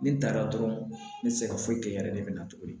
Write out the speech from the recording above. Ne taara dɔrɔn ne tɛ se ka foyi kɛ yɛrɛ de bɛ na tuguni